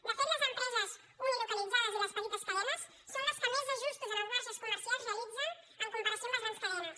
de fet les empreses unilocalitzades i les petites cadenes són les que més ajustos en els marges comercials realitzen en comparació amb les grans cadenes